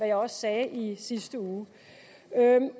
jeg sagde i sidste uge